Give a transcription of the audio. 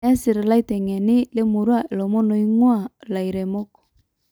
Nesir illaitengeni lemurrua ilomon oingu`aa ilairemok